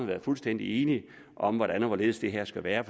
været fuldstændig enige om hvordan og hvorledes det her skulle være